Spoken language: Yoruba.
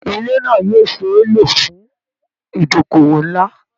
Ilé náà yóò ṣe é lò fún ìdókòwò ńlá